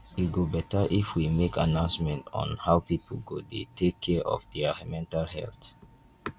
e go beta if we make announcement on how people go dey take care of their mental health